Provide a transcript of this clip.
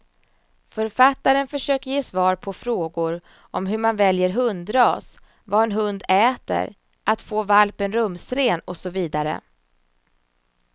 Författaren försöker ge svar på frågor om hur man väljer hundras, vad en hund äter, att få valpen rumsren och så vidare.